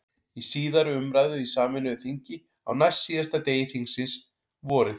Í síðari umræðu í sameinu þingi, á næstsíðasta degi þingsins, vorið